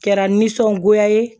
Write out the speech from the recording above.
Kɛra nisɔngoya ye